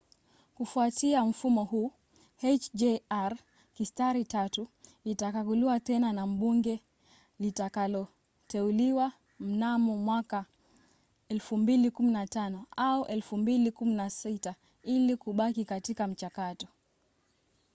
kufuatia mfumo huu hjr-3 itakaguliwa tena na bunge litakaloteuliwa mnamo mwaka 2015 au 2016 ili kubaki katika mchakato